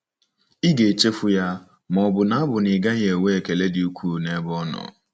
Ị ga-echefu ya, ma ọ bụ na bụ na ị gaghị enwe ekele dị ukwuu n'ebe ọ nọ?